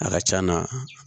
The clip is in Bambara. A ka c'a na